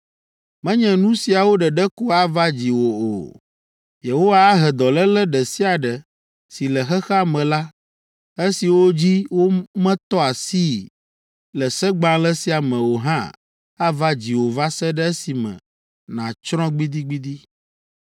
Menye nu siawo ɖeɖe ko ava dziwò o! Yehowa ahe dɔléle ɖe sia ɖe si le xexea me la, esiwo dzi wometɔ asii le Segbalẽ sia me o hã ava dziwò va se ɖe esime nàtsrɔ̃ gbidigbidi.